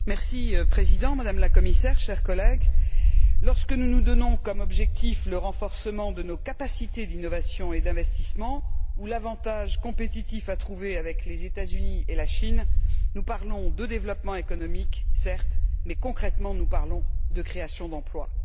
Monsieur le Président, Madame la Commissaire, chers collègues, lorsque nous nous donnons comme objectif le renforcement de nos capacités d'innovation et d'investissement ou l'avantage compétitif à trouver avec les États Unis et la Chine, nous parlons de développement économique, certes, mais concrètement, nous parlons de création d'emplois.